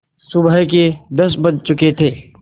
सुबह के दस बज चुके थे